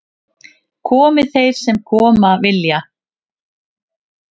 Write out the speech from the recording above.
Komi þeir sem koma vilja